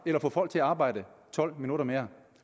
eller at få folk til at arbejde tolv minutter mere